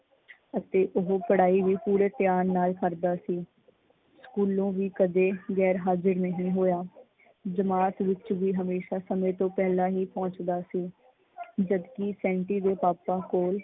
ਅਤੇ ਉਹ ਪੜਾਈ ਵੀ ਪੂਰੇ ਧਿਆਨ ਨਾਲ ਕਰਦਾ ਸੀ, ਸਕੂਲੋਂ ਵੀ ਕਦੇ ਗੈਰ ਹਾਜ਼ਿਰ ਨਹੀਂ ਹੋਇਆ। ਜਮਾਤ ਵਿੱਚ ਵੀ ਹਮੇਸ਼ਾ ਸਮੇ ਤੋਂ ਪਹਿਲਾਂ ਹੀ ਪਹੁੰਚਦਾ ਸੀ। ਜਦਕਿ ਸੈਂਟੀ ਦੇ ਪਾਪਾ ਕੋਲ